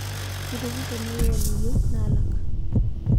Kitupuro newuon iyieu naalak